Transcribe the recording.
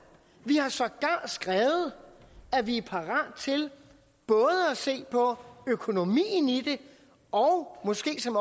vi har sågar skrevet at vi er parate til både at se på økonomien i det og måske som